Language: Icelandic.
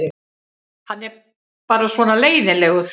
Hann er bara svona leiðinlegur.